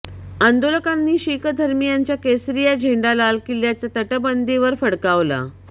आंदोलकांनी शीखधर्मीयांचा केसरिया झेंडा लाल किल्ल्याच्या तटबंदीवर फडकावला